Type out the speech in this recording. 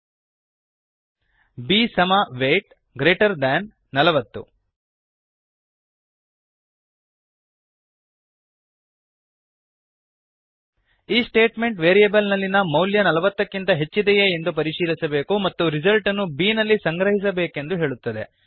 b weight B ಸಮ weight greater thanಗ್ರೇಟರ್ than 40 ನಲವತ್ತು ಈ ಸ್ಟೇಟ್ಮೆಂಟ್ ವೇರಿಯೇಬಲ್ಲಿನ ಮೌಲ್ಯ ನಲವತ್ತಕ್ಕಿಂತ ಹೆಚ್ಚಿದೆಯೇ ಎಂದು ಪರಿಶೀಲಿಸಬೇಕು ಮತ್ತು ರಿಸಲ್ಟನ್ನು ಬಿ ನಲ್ಲಿ ಸಂಗ್ರಹಿಸಬೇಕೆಂದು ಹೇಳುತ್ತದೆ